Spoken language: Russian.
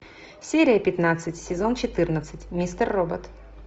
серия пятнадцать сезон четырнадцать мистер робот